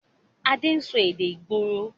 Adé ń sọ èdè ìgboro